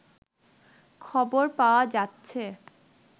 খবর পাওয়া যাচ্ছে